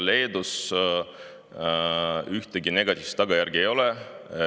Leedus ühtegi negatiivset tagajärge ei ole.